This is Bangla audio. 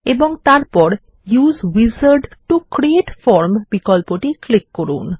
এবং তারপর use wizard to create form বিকল্প টি ক্লিক করুন